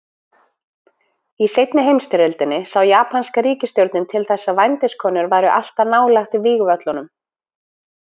Í seinni heimsstyrjöldinni sá japanska ríkisstjórnin til þess að vændiskonur væru alltaf nálægt vígvöllunum.